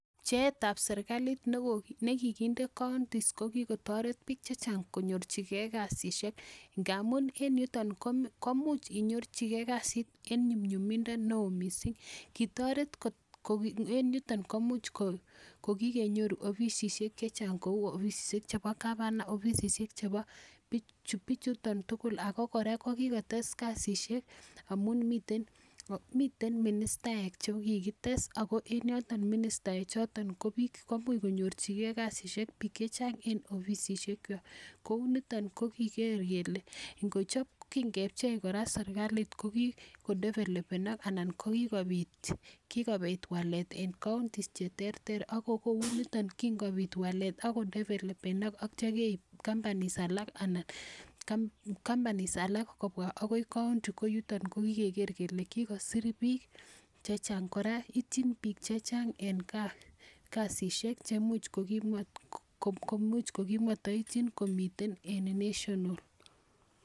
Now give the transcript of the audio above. Pcheetab serkalit ne kiginde koondishek ko kigotoret biik chechang konyorjige kasishek ngamun en yuton komuch inyorji ge kasit en nyumnyumindo neo mising. Kitoret, en yuton komuch kogikenyoru ofisishek chechang kou ofisishek chebo governor ofisishek chebo bichuton tugul. Ago kora kokigotes kasishek amun miten minisatek che kigites ago en yoton ministaek choton komuch konyorjige kasishek biik che chang en ofisishekwak. Kouniton ko kiger kele kingepchei serkalit kogikodevelopenok anan kokigobit walet en counties che terter. Ago kou nito kingobit walet ak ko developenok ak kityo keib companies kobwa agoi county ko yuton kogikeger kele kigosir biik chechang. Kora ityin biik chechang en gaa kasishek che imuch kogimata ityin komiten en national.